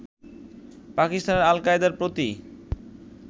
পাকিস্তানে আল কায়দার প্রতি